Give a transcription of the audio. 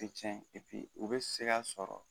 U tɛ cɛn u bɛ se ka sɔrɔ